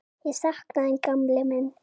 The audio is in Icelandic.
Ég sakna þín gamli minn.